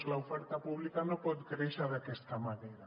l’oferta pública no pot créixer d’aquesta manera